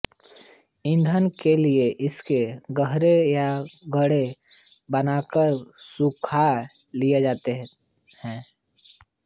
ईंधन के लिये इसके गोहरे या कंडे बनाकर सुखा लिए जाते हैं